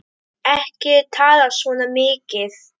Ekki tala svona mikið!